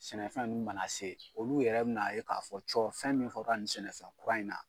Sɛnɛfɛn ninnu mana se olu yɛrɛ bɛ na ye k'a fɔ cɔ fɛn min fɔra nin sɛnɛfɛn kura in na.